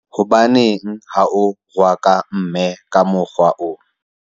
hobaneng ha o rohaka mme ka mokgwa oo?